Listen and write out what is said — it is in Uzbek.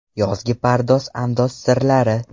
Yozgi pardoz-andoz sirlari.